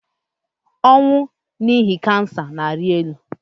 ọnwụ n'ihi ọrịa kansa na-arị elu